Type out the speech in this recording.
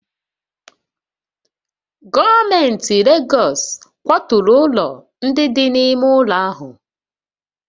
Gọọmenti Legọs kwaturu ụlọ ndị dị n'ime ụlọ ahụ